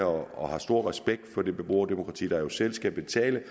og har stor respekt for det beboerdemokrati der jo selv skal betale